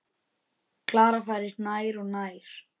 Klara færist nær og nær.